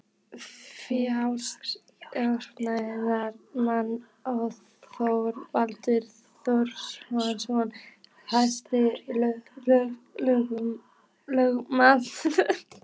Félags járniðnaðarmanna og Þorvaldur Þórarinsson hæstaréttarlögmaður.